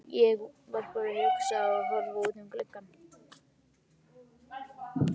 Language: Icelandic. Ég var bara að hugsa og horfa út um gluggann.